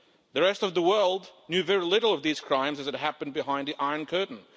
The rest of the world knew very little of these crimes as they happened behind the Iron Curtain.